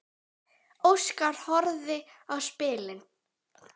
Óskar horfði á spilin.